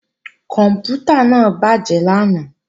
Kòǹpútà náà bàjé lánàá